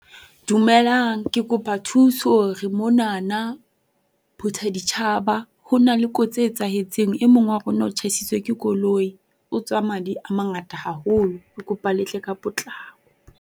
Dumelang. Ke kopa thusa re monana Phuthaditjhaba. Ho na le kotsi e etsahetseng. E mong wa rona o tjhaisitswe ke koloi. O tswa madi a mangata haholo. Ke kopa le tle ka potlako.